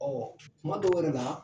kuma dɔw yɛrɛ la